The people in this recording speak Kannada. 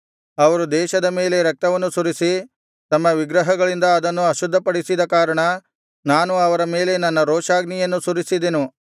ಅವರು ದೇಶದ ಮೇಲೆ ರಕ್ತವನ್ನು ಸುರಿಸಿ ತಮ್ಮ ವಿಗ್ರಹಗಳಿಂದ ಅದನ್ನು ಅಶುದ್ಧಪಡಿಸಿದ ಕಾರಣ ನಾನು ಅವರ ಮೇಲೆ ನನ್ನ ರೋಷಾಗ್ನಿಯನ್ನು ಸುರಿಸಿದೆನು